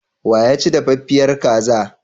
Wa ya ci dafaffiyar kaza?